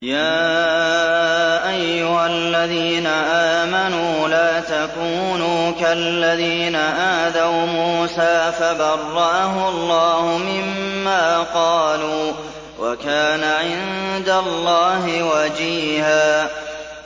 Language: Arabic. يَا أَيُّهَا الَّذِينَ آمَنُوا لَا تَكُونُوا كَالَّذِينَ آذَوْا مُوسَىٰ فَبَرَّأَهُ اللَّهُ مِمَّا قَالُوا ۚ وَكَانَ عِندَ اللَّهِ وَجِيهًا